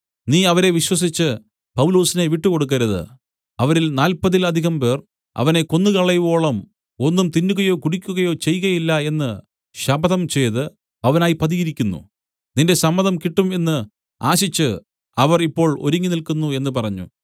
നീ അവരെ വിശ്വസിച്ച് പൗലൊസിനെ വിട്ടുകൊടുക്കരുത് അവരിൽ നാല്പതിൽ അധികംപേർ അവനെ കൊന്നുകളയുവോളം ഒന്നും തിന്നുകയോ കുടിയ്ക്കുകയോ ചെയ്കയില്ല എന്ന് ശപഥംചെയ്ത് അവനായി പതിയിരിക്കുന്നു നിന്റെ സമ്മതം കിട്ടും എന്ന് ആശിച്ച് അവർ ഇപ്പോൾ ഒരുങ്ങി നില്ക്കുന്നു എന്നു പറഞ്ഞു